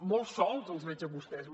molt sols els veig a vostès